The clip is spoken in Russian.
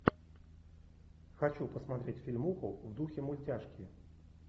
хочу посмотреть фильмуху в духе мультяшки